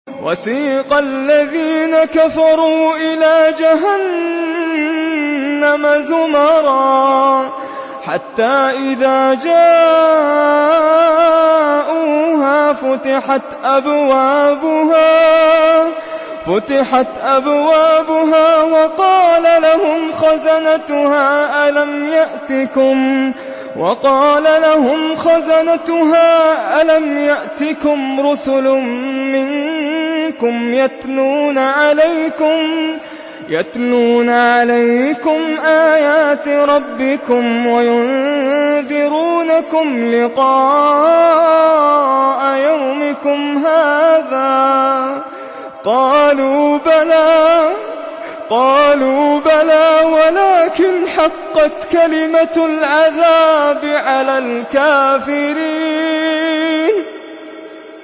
وَسِيقَ الَّذِينَ كَفَرُوا إِلَىٰ جَهَنَّمَ زُمَرًا ۖ حَتَّىٰ إِذَا جَاءُوهَا فُتِحَتْ أَبْوَابُهَا وَقَالَ لَهُمْ خَزَنَتُهَا أَلَمْ يَأْتِكُمْ رُسُلٌ مِّنكُمْ يَتْلُونَ عَلَيْكُمْ آيَاتِ رَبِّكُمْ وَيُنذِرُونَكُمْ لِقَاءَ يَوْمِكُمْ هَٰذَا ۚ قَالُوا بَلَىٰ وَلَٰكِنْ حَقَّتْ كَلِمَةُ الْعَذَابِ عَلَى الْكَافِرِينَ